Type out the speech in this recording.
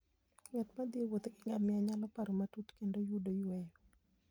Ng'at ma thi e wuoth gi ngamia nyalo paro matut kendo yudo yueyo.